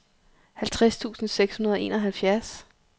halvtreds tusind seks hundrede og enoghalvfjerds